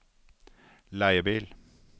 leiebil